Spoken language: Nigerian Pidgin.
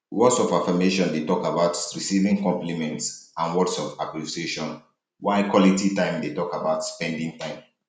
words of affirmation dey talk about receiving compliments and words of appreciation while quality time dey talk about spending time